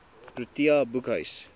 protea boekhuis